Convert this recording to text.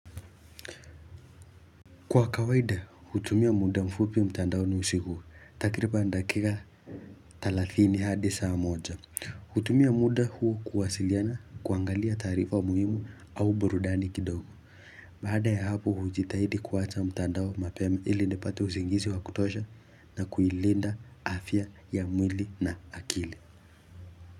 Kwa kawaida hutumia muda mfupi mtandaoni usiguu takiripan dakika thalathini hadi saa moja hutumia muda huu kuwasiliana kuangalia tarifa muhimu au burudani kidogo Baada ya hapo hujitahidi kuwacha mtandao mapeme ili nipate usingizi wa kutosha na kuilinda afya ya mwili na akili.